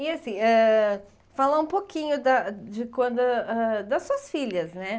E, assim, ãh falar um pouquinho da de quando ãh das suas filhas, né?